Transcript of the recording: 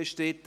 3.5 Kosten